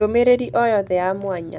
ndũmĩrĩri o yothe ya mwanya